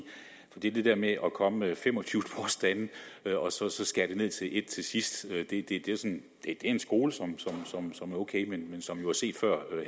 det er det der med at komme med fem og tyve påstande og så skære det ned til en til sidst det er en skole som er ok men som jo er set før